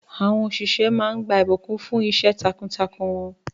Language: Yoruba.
Àwọn òṣìṣẹ́ máa ń gba ìbùkún fún àyẹ̀wò.